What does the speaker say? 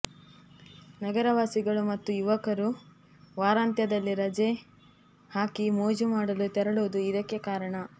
ನಗರವಾಸಿಗಳು ಮತ್ತು ಯುವಕರು ವಾರಾಂತ್ಯದಲ್ಲಿ ರಜೆ ಹಾಕಿ ಮೋಜು ಮಾಡಲು ತೆರಳುವುದು ಇದಕ್ಕೆ ಕಾರಣ